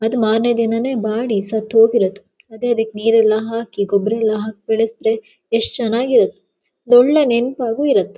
ಮತ್ ಮಾರನೇ ದಿನಾನೇ ಮಾಡಿ ಸತ್ತಹೋಗಿರೋದು ಅದೇ ಅದಕ್ಕೆ ನೀರೆಲ್ಲಾ ಹಾಕಿ ಗೊಬ್ಬರಯೆಲ್ಲಾ ಹಾಕಿ ಬೆಳಸದ್ರೆ ಎಷ್ಟು ಚನ್ನಾಗಿ ಇರುತ್ತ ಒಂದ್ ಒಳ್ಳೆ ನೆನಪಾಗು ಇರುತ್ತೆ .